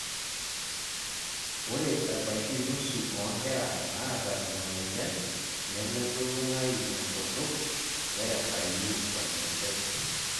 ore ebaiki nusu oonkera naata ina moyian nemelulung'ayu enkutuk, nerepayu oreng'ejep.